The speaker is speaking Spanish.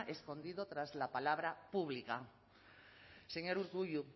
escondido tras la palabra pública señor urkullu